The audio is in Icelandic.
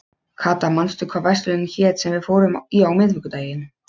Kata, manstu hvað verslunin hét sem við fórum í á miðvikudaginn?